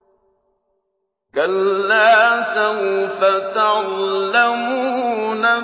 كَلَّا سَوْفَ تَعْلَمُونَ